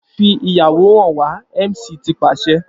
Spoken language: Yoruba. Fi iyawo han wa MC ti paṣẹ